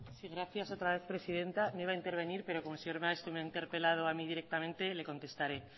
sí gracias otra vez presidenta no iba a intervenir pero como el señor maeztu me ha interpelado a mí directamente le contestaré